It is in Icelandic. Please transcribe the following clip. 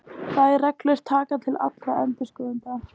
Þær reglur taka til allra endurskoðenda.